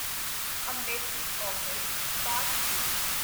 embassy office parks rate